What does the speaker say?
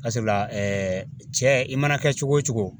Barisabula cɛ i mana kɛ cogo o cogo